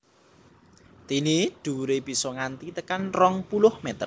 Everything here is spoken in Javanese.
Dené dhuwuré bisa nganti tekan rong puluh mèter